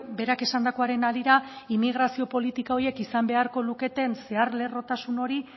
berak esandakoaren harira immigrazio politika horiek izan beharko luketen zehar lerrotasun hori